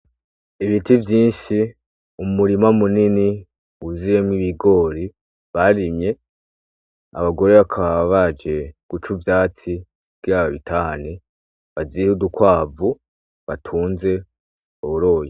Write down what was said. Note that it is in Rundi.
Ibiti vyinshi umurima munini wuzuyemwo ibigori barimye , abagore bakaba baje guca ivyatsi kugira babitahane bazihe udukwavu batunze boroye.